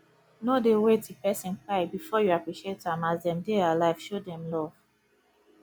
no dey wait till person kpai before you appreciate am as dem dey alive show dem love